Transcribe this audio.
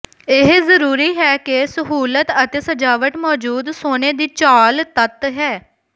ਇਹ ਜ਼ਰੂਰੀ ਹੈ ਕਿ ਸਹੂਲਤ ਅਤੇ ਸਜਾਵਟ ਮੌਜੂਦ ਸੋਨੇ ਦੀ ਝਾਲ ਤੱਤ ਹੈ